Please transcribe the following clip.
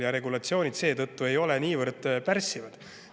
Ja nende regulatsioonid seetõttu ei ole niivõrd pärssivad.